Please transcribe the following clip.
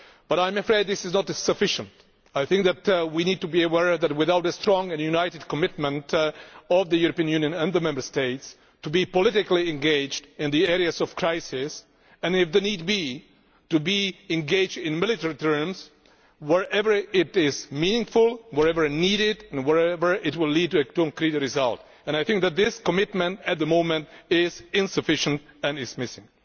But I am afraid that this is not sufficient. I think that we need to be aware that we need the strong and united commitment of the European Union and the Member States to be politically engaged in the areas of crisis, and if need be, to be engaged in military terms, wherever it is meaningful, wherever needed and wherever it will lead to a concrete result. I think that this commitment at the moment is insufficient and is missing.